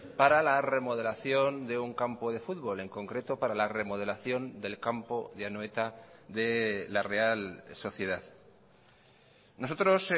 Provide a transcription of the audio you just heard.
para la remodelación de un campo de fútbol en concreto para la remodelación del campo de anoeta de la real sociedad nosotros